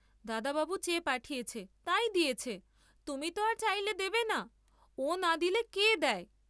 দাদাবাবু চেয়ে পাঠিয়েছে, তাই দিয়েছে, তুমি ত আর চাইলে দেবে না, ও না দিলে কে দেয়?